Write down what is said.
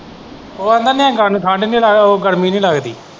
ਉਹ ਆਂਦਾ ਨਹਾਉਂਦਾ ਨਹੀਂ ਠੰਡ ਨਹੀਂ ਉਹ ਗਰਮੀ ਨਹੀਂ ਲੱਗਦੀ।